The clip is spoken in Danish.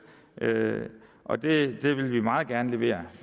og det vil vi meget gerne levere